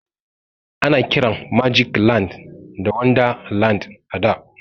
Ana kiran magic land da wonderland a da.